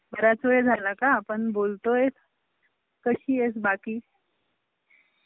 बराच वेळ झाला हा आपुन बोलतोय. कशीएस बाकी ?